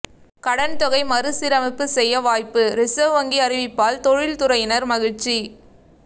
கடன் தொகை மறுசீரமைப்பு செய்ய வாய்ப்பு ரிசர்வ் வங்கி அறிவிப்பால் தொழில் துறையினர் மகிழ்ச்சி